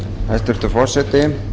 hæstvirtur forseti